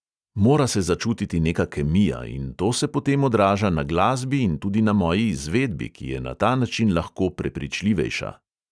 Mora se začutiti neka kemija in to se potem odraža na glasbi in tudi na moji izvedbi, ki je na ta način lahko prepričljivejša.